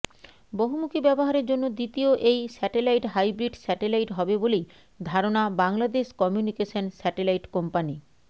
বহুমুখী ব্যবহারের জন্য দ্বিতীয় এই স্যাটেলাইট হাইব্রিড স্যাটেলাইট হবে বলেই ধারণা বাংলাদেশ কমিউনিকেশন স্যাটেলাইট কোম্পানি